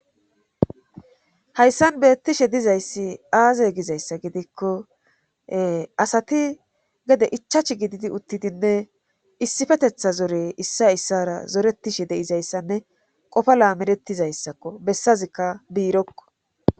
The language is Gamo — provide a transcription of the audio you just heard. Hayssan beetishe dizayssi aaze gizayssa gidikko asati gede ichchashi gididi utidinne issippeteththa zore issoy issowara diyayssanne qofa lammaeretishe dizayssakko bessazikka biirokko.